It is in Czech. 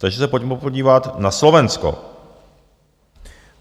Takže se pojďme podívat na Slovensko.